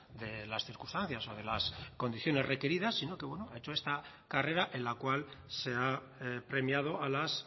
de las circunstancias o de las condiciones requeridas sino que bueno ha hecho esta carrera en la cual se ha premiado a las